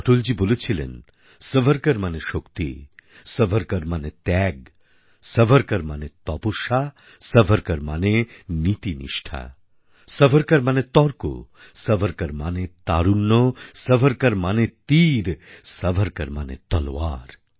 অটলজী বলেছিলেন সাভারকর মানে শক্তি সাভারকর মানে ত্যাগ সাভারকর মানে তপস্যা সাভারকর মানে নীতিনিষ্ঠা সাভারকর মানে তর্ক সাভারকর মানে তারুণ্য সাভারকর মানে তীর সাভারকর মানে তলোয়ার